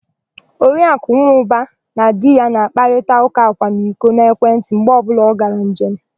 Oriakụ Nwọba na di ya na-akparịta ụ́kà akwamiko n'ekwentị mgbe ọbụla ọ gara njem.